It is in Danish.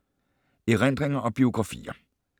Erindringer og biografier